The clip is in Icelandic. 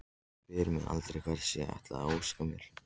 Hún spyr mig aldrei hvers ég ætli að óska mér.